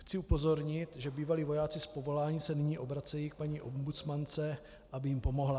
Chci upozornit, že bývalí vojáci z povolání se nyní obracejí k paní ombudsmance, aby jim pomohla.